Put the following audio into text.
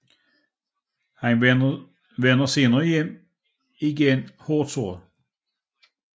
Han vender senere hjem igen hårdt såret